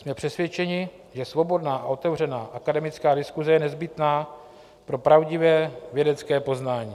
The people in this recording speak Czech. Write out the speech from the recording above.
Jsme přesvědčeni, že svobodná a otevřená akademická diskuse je nezbytná pro pravdivé vědecké poznání.